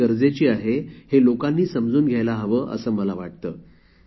मला असे म्हणायचे आहे की लोकांना स्वतला स्वच्छतेची आवश्यकता समजायला हवी